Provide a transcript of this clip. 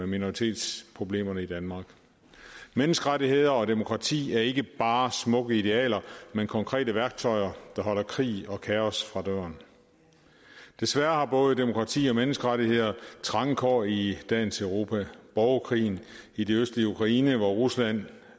minoritetsproblemer i danmark menneskerettigheder og demokrati er ikke bare smukke idealer men konkrete værktøjer der holder krig og kaos fra døren desværre har både demokrati og menneskerettigheder trange kår i dagens europa borgerkrigen i det østlige ukraine hvor rusland